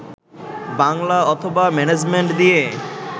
বাংলা অথবা ম্যানেজমেন্ট দিয়ে